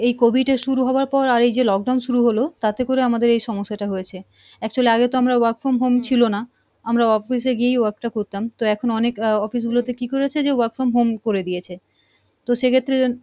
এই COVID এর শুরু হওয়ার পর আর এইযে lockdown শুরু হলো, তাতে করে আমাদের এই সমস্যাটা হয়েছে actually আগে তো আমরা work from home ছিলো না, আমরা office এ গিয়েই work টা করতাম তো এখন অনেক আহ office গুলোতে কী করেছে যে, work from home করে দিয়েছে, তো সেক্ষেত্রে,